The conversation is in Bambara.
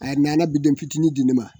A nana bidon fitinin di ne ma